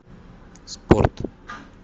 спорт